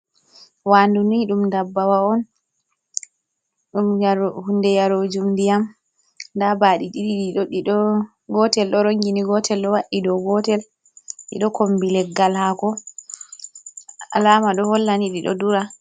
Wandu ni ɗum dabbawa on ɗum hunde yarojum ndiyam, nda baɗi ɗiɗi, gotel ɗo rongini, gotel ɗo wa'i dou gotel, ɗiɗo kombi leggal hako, alama ɗo hollani ɗiɗo dura.